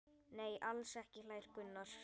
Nei, alls ekki hlær Gunnar.